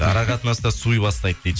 ара қатынаста суый бастайды дейді